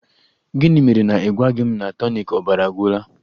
Gịnị mere na ị gwaghị m na tonik ọbara agwụla?